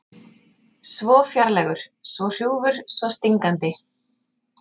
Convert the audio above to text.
Svo fjarlægur, svo hrjúfur, svo stingandi.